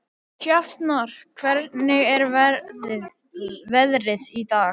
Sjafnar, hvernig er veðrið í dag?